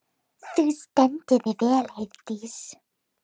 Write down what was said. Þú stendur þig vel, Heiðdís!